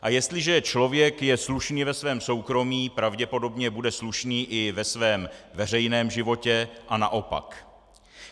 A jestliže je člověk slušný ve svém soukromí, pravděpodobně bude slušný i ve svém veřejném životě a naopak.